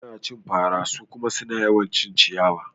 Ana cin fara su kuma suna yawan cin ciyawa